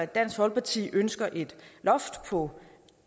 dansk folkeparti ønsker et loft på